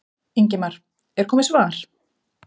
Ingimar: Er komið svar?